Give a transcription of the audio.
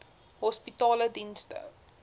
hospitaledienste